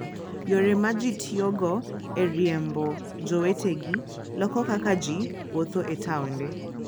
Yore ma ji tiyogo e riembo jowetegi loko kaka ji wuotho e taonde.